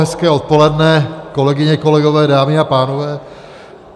Hezké odpoledne, kolegyně, kolegové, dámy a pánové.